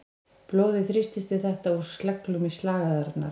Blóðið þrýstist við þetta úr sleglum í slagæðarnar.